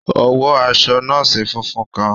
O wọ aṣọ nọọsi fúnfún kàn.